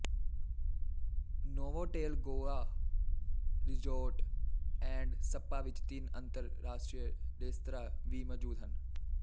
Novotel Goa resort and spa ਵਿੱਚ ਤਿੰਨ ਅੰਤਰ ਰਾਸ਼ਟਰੀ ਰੇਸਤਰਾ ਵੀ ਮੋਜੂਦ ਹਨ